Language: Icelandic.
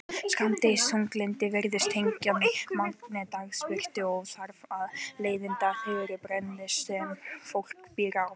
Skammdegisþunglyndi virðist tengjast magni dagsbirtu og þar af leiðandi þeirri breiddargráðu sem fólk býr á.